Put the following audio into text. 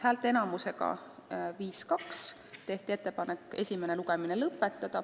Häälteenamusega 5 : 2 tehti ettepanek esimene lugemine lõpetada.